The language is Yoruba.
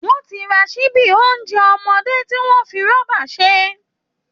Wọ́n ti ra ṣíbí oúnjẹ ọmọdé tí wọ́n fi rọ́bà ṣe